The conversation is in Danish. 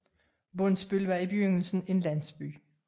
Bondsbøl var i begyndelsen en landsby